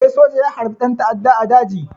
Eh, soja ya harbi ɗan ta'adda a daji.